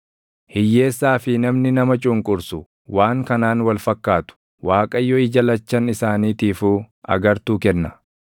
Hiyyeessaa fi namni nama cunqursu waan kanaan wal fakkaatu: Waaqayyo ija lachan isaaniitiifuu agartuu kenna.